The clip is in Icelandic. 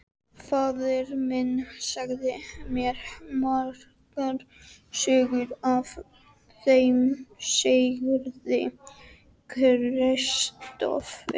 Faðir minn sagði mér margar sögur af þeim Sigurði Kristófer.